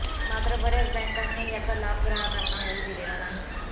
मात्र बऱ्याच बॅंकांनी याचा लाभ ग्राहकांना होऊ दिलेला नाही